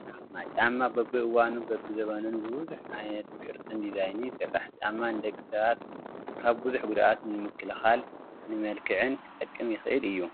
ጫማ፡- ጫማ በቢእዋኑን በቢዘበኑን ብብዙሕ ዓይነት ቅርፅን ዲዛይንን ይስራሕ፡፡ ጫማ ንደቂ ሰባት ካብ ብዙሕ ጉድኣት ንምክልኻልን ንመልክዕን ክጠቅም ይኽእል እዩ፡፡